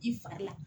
I fari la